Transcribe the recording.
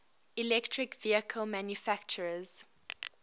electric vehicle manufacturers